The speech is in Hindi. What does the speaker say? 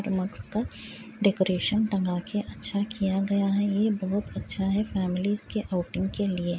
मग्स पर डेकोरेशन टंगा के अच्छा किया गया है ये बोहत अच्छा है फैमिलीज़ के आउटिंग के लिए।